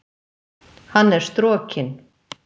Hann er strokinn.